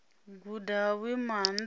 guda ha vhuimo ha nṱha